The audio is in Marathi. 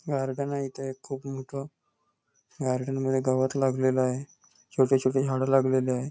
गार्डन आहे इथे एक खूप मोठ गार्डन मध्ये गवत लागलेल आहे छोटे छोटे झाड लागलेली आहे.